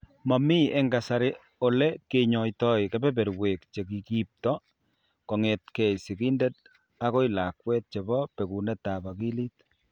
Momii eng' kasari ole kenyoito kebeberwek che kiipto kong'etke sigindet akoi lakwet chebo bekunetab akilit.